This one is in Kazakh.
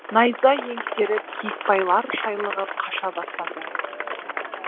найза еңсеріп киікбайлар шайлығып қаша бастады